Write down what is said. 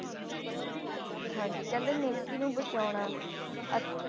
ਹਾਂਜੀ ਕਹਿੰਦੇ ਨੇਕੀ ਨੂੰ ਬਚਾਉਣਾ ਅਹ